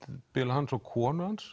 hans og konu hans